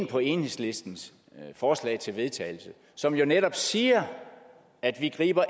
på enhedslistens forslag til vedtagelse som jo netop siger at vi